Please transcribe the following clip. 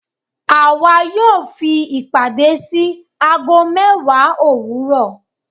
Àwà yóò fi ìpàdé sí agó mewa owuro